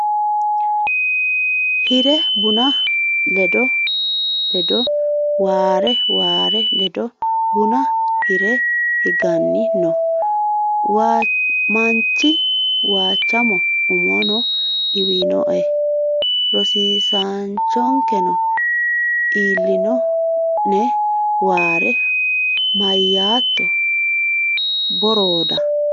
hire buna ledo Waare Waare ledo buna hire higanni noo manchi Waachamo Umono dhiwinoe rosiisaanchonkeno ilino ne Waare Mayyaatto Borooda !